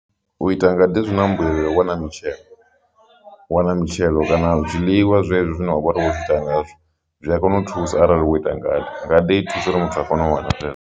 U ita ngade zwi na mbuyelo i wana mitshelo u wana mitshelo kana u zwiḽiwa zwezwi zwine wavhori wo zwi ita ngazwo zwi a kona u thusa arali wo ita ngade, ngade i thusa uri muthu a kone u wana